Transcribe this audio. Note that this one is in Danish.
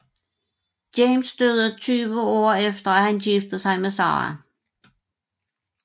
James døde 20 år efter at han giftede sig med Sara